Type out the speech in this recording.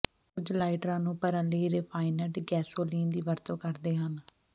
ਕੁਝ ਲਾਈਟਰਾਂ ਨੂੰ ਭਰਨ ਲਈ ਰਿਫਾਈਨੰਡ ਗੈਸੋਲੀਨ ਦੀ ਵਰਤੋਂ ਕਰਦੇ ਹਨ